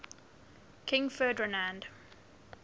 king ferdinand